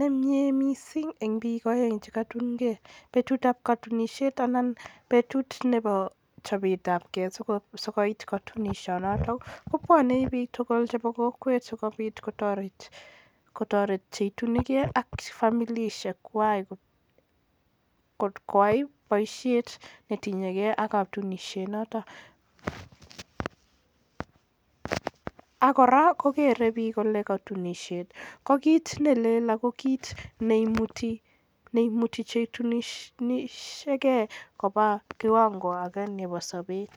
nemnye mising eng biik aeng che kaitunkei. Betutab katunisiet anan betut nebo chopetapkei sikoit katunisiet noto ko bwoni biik tugul chebo kokwet sikopit kotoret che itunikei ak familisiek kwai koyai boisiet netinyekei ak katunisiet noto ak kora kogeere biik katunisiet ko kiit ne lel ako kiit neimuti che itunisiekei koba kiwango ake nebo sobet.